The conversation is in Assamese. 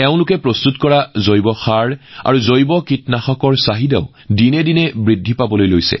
তেওঁলোকে নিৰ্মাণ কৰা জৈৱ সাৰ আৰু জৈৱ কীটনাশকৰ চাহিদাও ক্ৰমাগতভাৱে বৃদ্ধি পাইছে